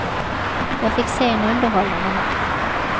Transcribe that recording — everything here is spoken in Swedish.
Jag fick se en underhållande match.